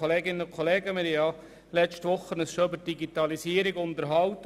Wir haben uns bereits letzte Woche über die Digitalisierung unterhalten.